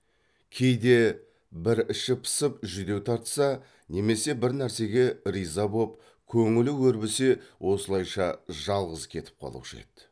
кейде бір іші пысып жүдеу тартса немесе бір нәрсеге риза боп көңілі өрбісе осылайша жалғыз кетіп қалушы еді